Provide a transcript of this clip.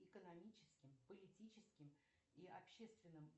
экономическим политическим и общественным